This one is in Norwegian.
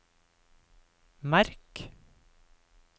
merk